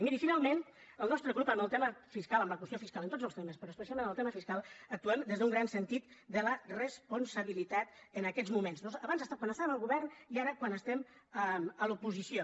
i miri finalment el nostre grup en el tema fiscal en la qüestió fiscal en tots els temes però especialment en el tema fiscal actuem des d’un gran sentit de la responsabilitat en aquests moments abans quan estàvem al govern i ara quan estem a l’oposició